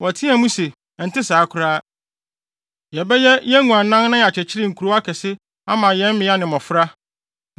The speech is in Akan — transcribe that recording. Wɔteɛɛ mu se, “Ɛnte saa koraa! Yɛbɛyɛ yɛn nguannan na yɛakyekyere nkurow akɛse ama yɛn mmea ne mmofra.